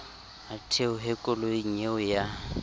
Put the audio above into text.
a theohe koloing eo ya